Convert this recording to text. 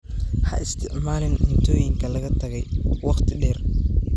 Ha isticmaalin cuntooyinka laga tagay wakhti dheer.